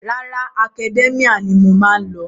Rárá, Academia ni mo má ń lò.